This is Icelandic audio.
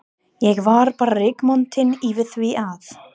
Ég var bara rígmontin yfir því að